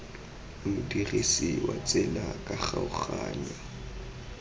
modirisi wa tsela ka kgaoganyo